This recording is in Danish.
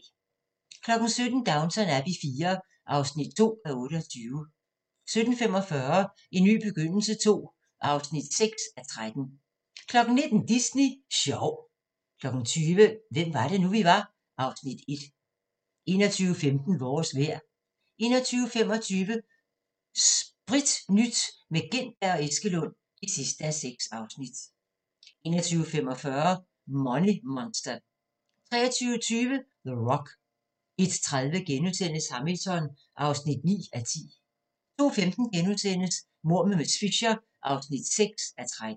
17:00: Downton Abbey IV (2:28) 17:45: En ny begyndelse II (6:13) 19:00: Disney sjov 20:00: Hvem var det nu, vi var (Afs. 1) 21:15: Vores vejr 21:25: Spritnyt – med Gintberg og Eskelund (6:6) 21:45: Money Monster 23:20: The Rock 01:30: Hamilton (9:10)* 02:15: Mord med miss Fisher (6:13)*